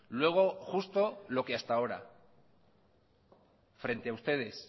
luego justo lo que hasta ahora frente a ustedes